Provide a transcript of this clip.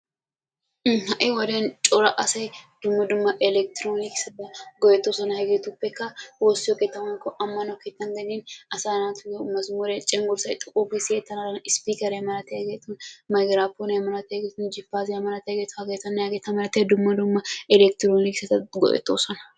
Ha'i wode daro asay dumma dumma elekiteroonikisiyaa go"ettoosona. Hegeetupekka woossiyoo woykko ammano keettan asaa naatuyoo mazmuree woykko cengurssay xooqqu gi siyettana mala ispiikeriyaa malatiyaageti miykiraaponiyaa malatiyaageti jipaasiyaa malatiyaageta hageetanne hageta malatiyaa dumma dumma eleketronikisiyaa go"ettoosona.